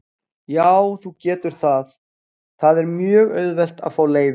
Já, þú getur það, það er mjög auðvelt að fá leyfi.